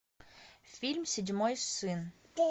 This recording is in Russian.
фильм седьмой сын